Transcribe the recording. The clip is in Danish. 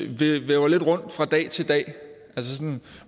lidt rundt fra dag til dag